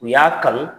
U y'a kanu